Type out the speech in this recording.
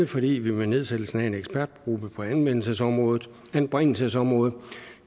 fordi vi ved nedsættelsen af en ekspertgruppe på anbringelsesområdet anbringelsesområdet